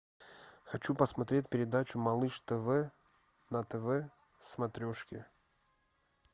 хочу посмотреть передачу малыш тв на тв смотрешке